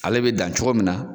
Ale bɛ dan cogo min na.